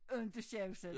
Inte sjawsa